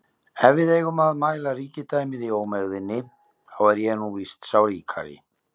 Ef við eigum að mæla ríkidæmið í ómegðinni, þá er ég nú víst sá ríkari